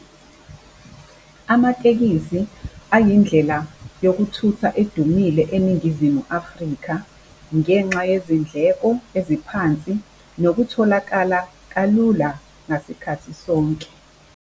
Amatekisi ayindlela yokuthutha edumile eNingizimu Afrika ngenxa yezindleko eziphansi nokutholakala kalula ngasikhathi sonke.